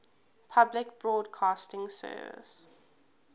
public broadcasting service